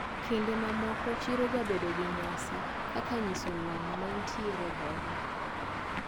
Kinde mamoko chiro jabedo gi nyasi kaka nyiso lony maintiere godo.